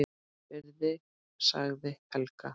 Virði sagði Helga.